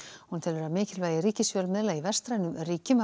hún telur að mikilvægi ríkisfjölmiðla í vestrænum ríkjum hafi